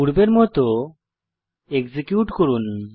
পূর্বের মত এক্সিকিউট করুন